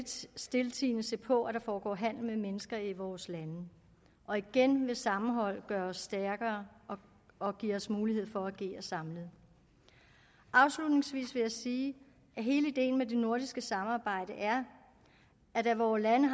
stiltiende se på at der foregår handel med mennesker i vores lande og igen vil sammenhold gøre os stærkere og give os mulighed for at agere samlet afslutningsvis vil jeg sige at hele ideen med det nordiske samarbejde er at da vore lande